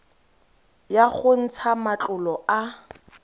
ya go ntsha matlolo a